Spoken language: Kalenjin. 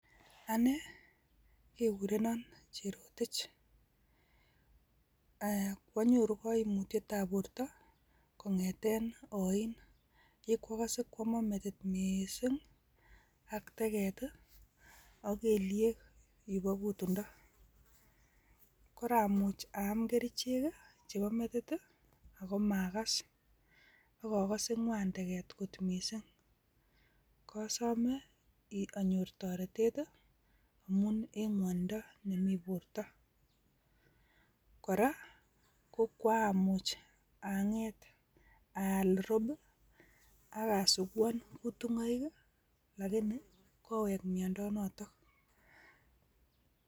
Ane kegurenan cherotich. Ee! Kwonyoru kaimutietab borto kongeten oin ye koagase kwaman metit mising ak teget ii ak kelyek yupo kutundo. Koramuch aam kerichek ii chebo metit ii ago magas ak agase ngwan teget kot mising. Kasome iin, anyor toretet ii amun en ngwonindo nemi borta. Kora ko koamuch anget aal rob ii ak asuguan kutungoik ii lakini kowek miando noto.